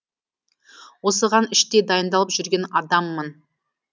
осыған іштей дайындалып жүрген адаммын